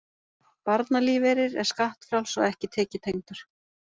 Barnalífeyrir er skattfrjáls og ekki tekjutengdur